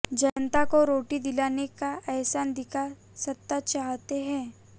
जनता को रोटी दिलाने का अहसान दिखा सत्ता चाहते हैं